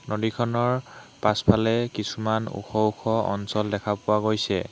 নদীখনৰ পাছফালে কিছুমান ওখ ওখ অঞ্চল দেখা পোৱা গৈছে।